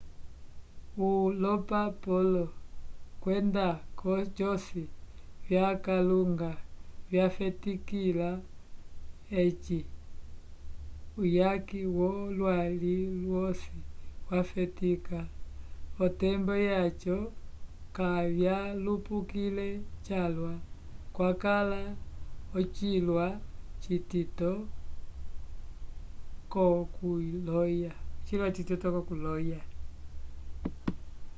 o lombapolo vyenda cosi vyakalunga vyafetikila edji uyaki wolwaliwosi wafetika votembo yaco kavyalupukile calwa kwakala ochilwa citito cokuloya